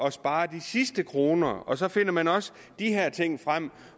at spare de sidste kroner og så finder man også de her ting frem